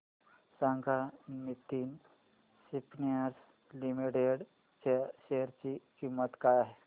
सांगा Nitin spinners limited च्या share ची किंमत काय आहे